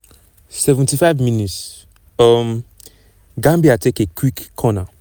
75 mins - um gambia take a quick corner.